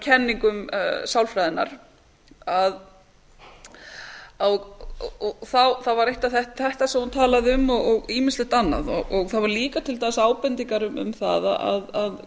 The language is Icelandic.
kenningum sálfræðinnar og þá var þetta eitt af því sem hún talaði um og ýmislegt annað það voru líka til dæmis ábendingar um það að